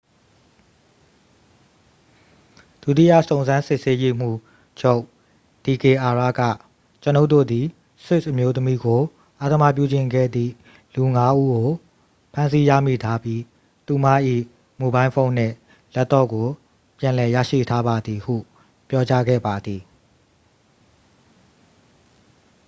"ဒုတိယ စုံစမ်းစစ်ဆေးရေးမှူးချုပ် ဒီကေအာရ က "ကျွန်ုပ်တို့သည် ဆွစ်အမျိုးသမီးကို အဓမ္မပြုကျင့်ခဲ့သည်လူ ငါး ဦးကို ဖမ်းဆီးရမိထားပြီး သူမ၏မိုဘိုင်းဖုန်းနှင့် လပ်တော့ကို ပြန်လည်ရရှိထားပါသည်" ဟု ပြောကြားခဲ့ပါသည်။